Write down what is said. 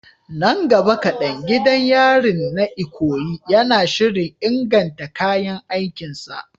Nan gaba kadan, gidan yarin na Ikoyi yana shirin inganta kayan aikin sa.